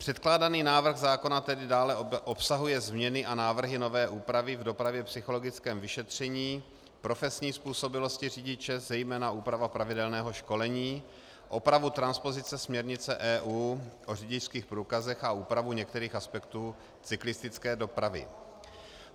Předkládaný návrh zákona tedy dále obsahuje změny a návrhy nové úpravy v dopravně psychologickém vyšetření, profesní způsobilosti řidiče, zejména úprava pravidelného školení, opravu transpozice směrnice EU o řidičských průkazech a úpravu některých aspektů cyklistické dopravy.